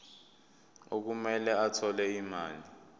okumele athole imali